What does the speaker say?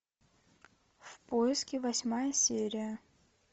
в поиске восьмая серия